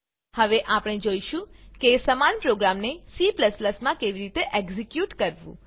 હવે આપણે જોઈશું કે સમાન પ્રોગ્રામને C માં કેવી રીતે એક્ઝીક્યુટ કરવું